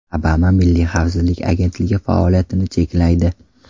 Obama Milliy xavfsizlik agentligi faoliyatini cheklaydi.